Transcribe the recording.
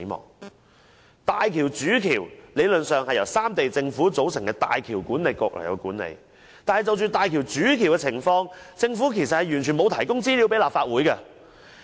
理論上，大橋主橋由三地政府組成的港珠澳大橋管理局管理，但就大橋主橋的情況，政府完全沒有提供資料給立法會。